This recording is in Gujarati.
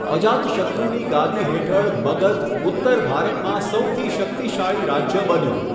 અજાતશત્રુની ગાદી હેઠળ મગધ ઉત્તર ભારતમાં સૌથી શક્તિશાળી રાજ્ય બન્યું.